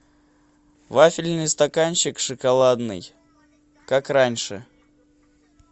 вафельный стаканчик шоколадный как раньше